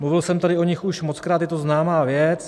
Mluvil jsem tady o nich už mockrát, je to známá věc.